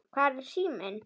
Hvar er síminn?